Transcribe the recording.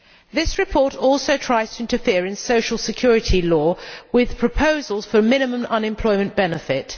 This report also tries to interfere in social security law with proposals for a minimum unemployment benefit.